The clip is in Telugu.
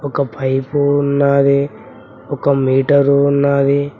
ఒక పైపు ఉన్నది ఒక మీటరు ఉన్నది.